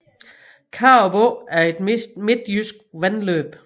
Karup Å er et midtjysk vandløb